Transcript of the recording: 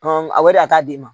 Hɔn a wari a t'a d d'i ma.